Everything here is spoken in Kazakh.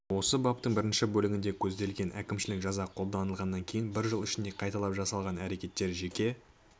осы баптың бірінші бөлігінде көзделген әкімшілік жаза қолданылғаннан кейін бір жыл ішінде қайталап жасалған әрекеттер жеке